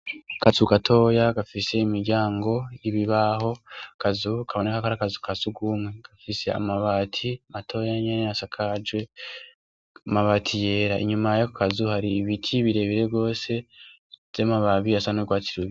Akazu gatoya gafise imiryango y'ibibaho, akazu kaboneka ko ari akazu ka sugumwe gafise amabati matoya nyene asakaje amabati yera, inyuma yako kazu hari ibiti birebire gose vy'amababi asa n'urwatsi rubisi.